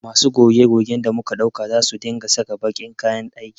Masu goge gogen da muka ɗauka za su dinga saka baƙin kayan aiki